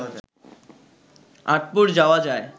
আঁটপুর যাওয়া যায়